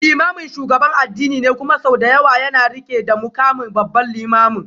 Limamin shugaban addini ne kuma sau da yawa yana rike da mukamin Babban Limamin.